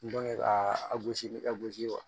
ka a gosi ni a gosi ye wa